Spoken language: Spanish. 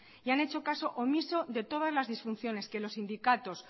y han hecho caso omiso de todas las disfunciones que los sindicatos